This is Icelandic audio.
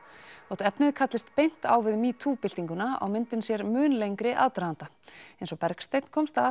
þó efnið kallist beint á við metoo byltinguna á myndin sér mun lengri aðdraganda eins og Bergsteinn komst að